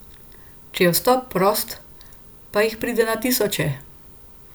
Če je vstop prost, pa jih pride na tisoče.